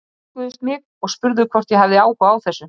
Þeir nálguðust mig og spurðu hvort ég hefði áhuga á þessu.